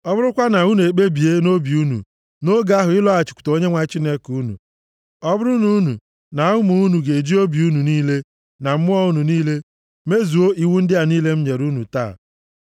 ọ bụrụkwa na unu ekpebie nʼobi unu nʼoge ahụ ịlọghachikwute Onyenwe anyị Chineke unu, ọ bụrụ na unu, na ụmụ unu ga-eji obi unu niile na mmụọ unu niile mezuo iwu ndị a niile m nyere unu taa.